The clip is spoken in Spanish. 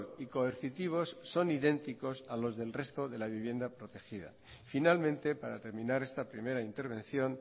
y coercitivos son idénticos a los del resto de la vivienda protegida finalmente para terminar esta primera intervención